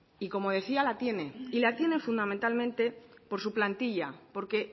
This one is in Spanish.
y como decía la tiene y la tiene fundamentalmente por su plantilla porque